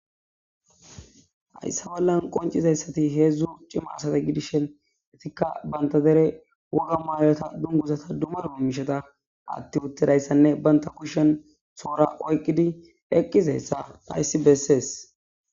Hayissa bollani qoncidayisi woyiko entikka ba derre woga mayo dunuguza mayi utidayissa banitta kusheni tora oyikidi eqidayissa hayissi bessesi